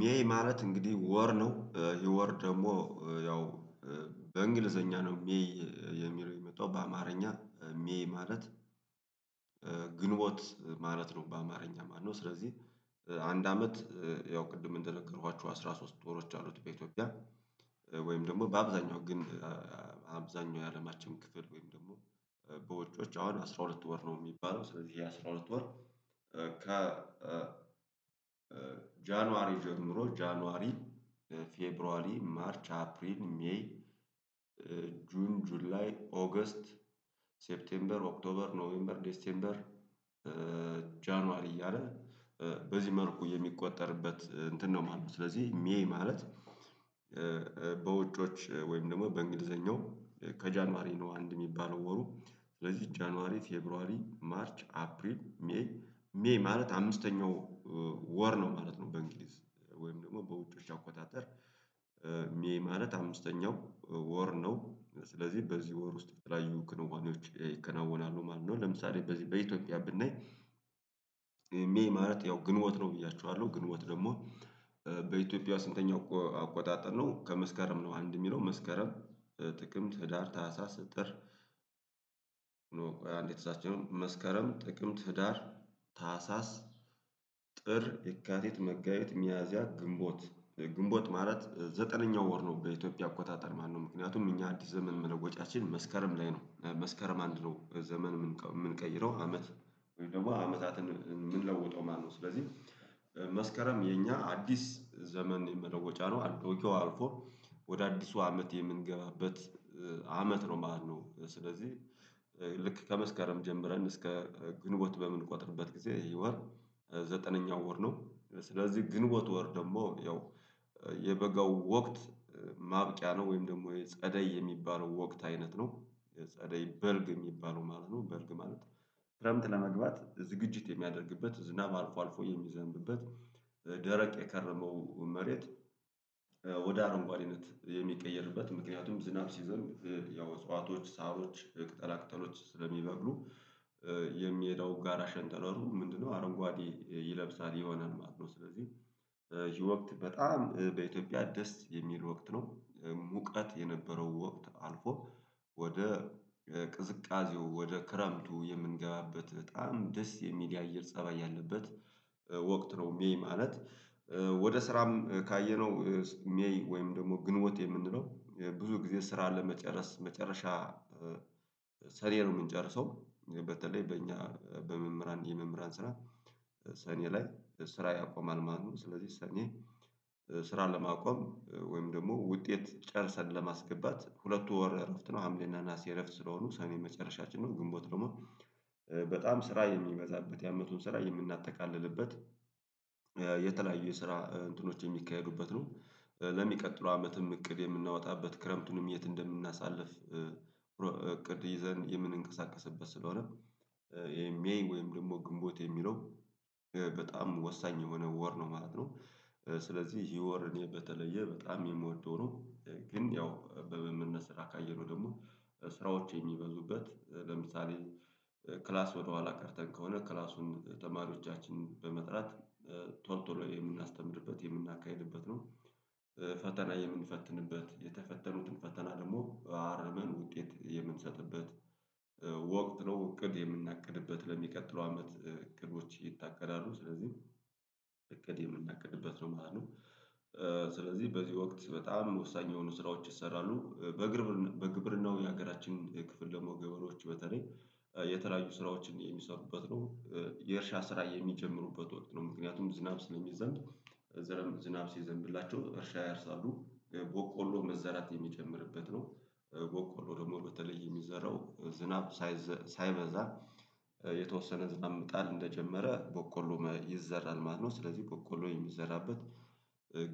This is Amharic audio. ሜይ ማለት እንግዲህ ወር ነው ይህ ወር ደግሞ ያው በእንግሊዘኛ ነው ሜይ የሚለው የመጣው በአማርኛ ሜይ ማለት ግንቦት ማለት ነው በአማርኛ ማለት ነው። ስለዚህ አንድ አመት ያው ቅድም እንደነገረኋችሁ አስራ ሶስት ወሮች አሉት በኢትዮጵያ። ወይም ደግሞ በአብዛኛው ግን አብዛኛው የአለማችን ክፍል ወይም ደግሞ በዉጮች አሁን አስራ ሁለት ወር ነው የሚባለው ስለዚህ ይሄ አስራ ሁለት ወር። ከ ጃንዋሪ ጀምሮ ጃንዋሪ ፌብሩዋሪ ማርች አፕሪል ሜይ ጁን ጁላይ ኦገስት ሴፕቴምበር ኦክቶበር ኖቬምበር ዴሰምበር ጃንዋሪ እያለ በዚህ መልኩ የሚቆጠርበት እንትን ነው ማለት ነው። ስለዚህ ሜይ ማለት በውጮች ወይም ደግሞ በእንግሊዘኛው ከጃንዋሪ ነው። አንድ የሚባለው ወሩ ስለዚህ ጃንዋሪ ፌብሩዋሪ ማርች አፕሪል ሜይ ሜይ ማለት አምስተኛው ወር ነው ማለት ነው። በእንግሊዝ ወይም ደግሞ በውጮች አቆጣጠር ሜይ ማለት አምስተኛው ወር ነው ስለዚህ በዚህ ወር ውስጥ የተለያዩ ክንዋኔዎች ይከናወናሉ ማለት ነው። ለምሳሌ በዚህ በኢትዮጵያ ብናይ ሜይ ማለት ያው ግንቦት ነው ብያችኋለሁ ግንቦት ደግሞ በኢትዮጵያ ስንተኛው አቆጣጠር ነው? ከመስከረም ነው አንድ የሚለው መስከረም ጥቅም ህዳር ታህሳስ ጥር ተሳስቼ ነው። መስከረም ጥቅምት ህዳር ታህሳስ ጥር የካቲት መጋቢት ሚያዚያ ግንቦት ግንቦት ማለት ዘጠነኛው ወር ነው በኢትዮጵያ አቆጣጠር ማለት ነው። ምክንያቱም እኛ አዲስ ዘመን መለወጫችን መስከረም ላይ ነው መስከረም አንድ ነው ዘመን የምንቀይረው አመት ወይ ደግሞ አመታትን የምንለውጠው ማለት ነው። ስለዚህ መስከረም የኛ አዲስ ዘመን መለወጫ ነው። አሮጌው አልፎ ወደ አዲሱ አመት የምንገባበት አመት ነው ማለት ነው። ስለዚህ ልክ ከመስከረም ጀምረን እስከ ግንቦት በምንቆጥርበት ጊዜ ይህ ወር ዘጠነኛው ወር ነው። ስለዚህ ግንቦት ወር ደግሞ ያው የበጋው ወቅት ማብቂያ ነው ወይም ደግሞ የጸደይ የሚባለው ወቅት አይነት ነው ጸደይ በልግ የሚባለው ማለት ነው። በልግ ማለት ነው። ክረምት ለመግባት ዝግጅት የሚያደርግበት ዝናብ አልፎ አልፎ የሚዘንብበት ደረቅ የከረመው መሬት ወደ አረንጓዴነት የሚቀየርበት ምክንያቱም ዝናብ ሲዘንብ ያው እጽዋቶች ሳሮች ቅጠላ ቅጠሎች ስለሚበቅሉ። የሚሄደው ጋራ ሸንተረሩ ምንድነው አረንጓዴ ይለብሳል ይሆናል ማለት ነው። ስለዚህ ወቅት በጣም በኢትዮጵያ ደስ የሚል ወቅት ነው። ሙቀት የነበረው ወቅት አልፎ ወደ ቅዝቃዜው ወደ ክረምቱ የምንገባበት በጣም ደስ የሚል አየር ፀባይ ያለበት ወቅት ነው። ሜይ ማለት ወደ ስራም ካየነው ሜይ ወይም ደግሞ ግንቦት የምንለው ብዙ ጊዜ ስራ ለመጨረስ መጨረሻ ሰኔ ነው የምንጨርሰው። በተለይ በእኛ በመምህራን የመምህራን ስራ ሰኔ ላይ ስራ ያቆማል ማለት ነው። ስለዚህ ሰኔ ስራን ለማቆም ወይም ደግሞ ውጤት ጨርሰን ለማስገባት ሁለት ወር እረፍት ነው ሀምሌ እና ናሲ እረፍት ስለሆኑ ሰኔ መጨረሻችን ነው። ግንቦት ደግሞ በጣም ስራ የሚበዛበት ያመቱን ስራ የምናጠቃልልበት የተለያዩ የስራ እንትኖች የሚካሄዱበት ነው። ለሚቀጥለው አመትም እቅድ የምናወጣበት ክረምቱንም የት እንደምናሳልፍ እቅድ ይዘን የምንንቀሳቀስበት ስለሆነ ሜይ ወይም ደግሞ ግንቦት የሚለው በጣም ወሳኝ የሆነ ወር ነው ማለት ነው። ስለዚህ ይሄ ወር እኔ በተለየ በጣም የምወደው ነው። ግን ያው በመመነስ ስራ ካየነው ደግሞ ስራዎች የሚበዙበት ለምሳሌ ክላስ ወደኋላ ቀርተን ከሆነ ክላሱን ተማሪዎቻችን በመጥራት ቶሎ የምናስተምርበት የምናካሂድበት ነው። ፈተና የምንፈትንበት የተፈተኑትን ፈተና ደግሞ አርመን ውጤት የምንሰጥበት ወቅት ነው። እቅድ የምናቅድበት ለሚቀጥለው አመት እቅዶች ይታቀዳሉ ስለዚህ እቅድ የምናቅድበት ነው ማለት ነው። ስለዚህ በዚህ ወቅት በጣም ወሳኝ የሆኑ ስራዎች ይሰራሉ በግብር በግብርናው የሀገራችን ክፍል ደግሞ ገበሬዎች በተለይ የተለያዩ ስራዎችን የሚሰሩበት ነው። የእርሻ ስራ የሚጀምሩበት ወቅት ነው። ምክንያቱም ዝናብ ስለሚዘንብ ዘርም ዝናብ ሲዘንብላቸው እርሻ ያርሳሉ ቦቆሎ መዘራት የሚጀምርበት ነው። ቦቆሎ ደግሞ በተለይ የሚዘራው ዝናብ ሳይበዛ የተወሰነ ዝናብ መጣል እንደጀመረ በቆሎ ይዘራል ማለት ነው። ስለዚህ በቆሎ የሚዘራበት